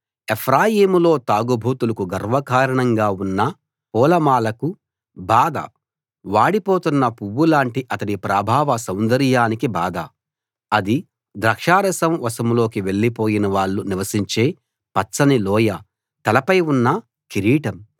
ఎఫ్రాయీములో తాగుబోతులకు గర్వకారణంగా ఉన్న పూలమాలకు బాధ వాడిపోతున్న పువ్వులాంటి అతడి ప్రాభవ సౌందర్యానికి బాధ అది ద్రాక్షారసం వశంలోకి వెళ్ళిపోయిన వాళ్ళు నివసించే పచ్చని లోయ తలపై ఉన్న కిరీటం